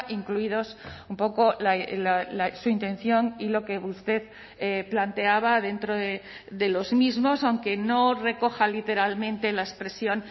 incluidos un poco su intención y lo que usted planteaba dentro de los mismos aunque no recoja literalmente la expresión